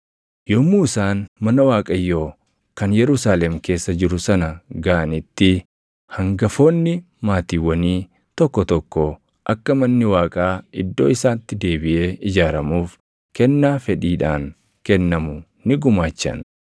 Yommuu isaan mana Waaqayyoo kan Yerusaalem keessa jiru sana gaʼanitti hangafoonni maatiiwwanii tokko tokko akka manni Waaqaa iddoo isaatti deebiʼee ijaaramuuf kennaa fedhiidhaan kennamu ni gumaachan.